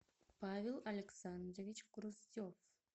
павел александрович груздев